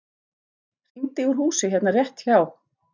Hringdi úr húsi hérna rétt hjá.